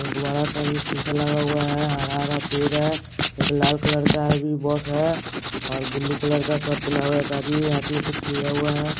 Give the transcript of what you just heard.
एक बड़ा सा भी शीशा लगा हुआ है हरा हरा पेड़ है एक लाल कलर का भी बस है और ब्लू कलर का शर्ट पेहना एक आदमी कुछ लिया हुआ है।